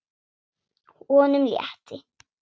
Honum létti.